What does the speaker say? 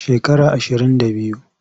Shekara ashirin da biyu.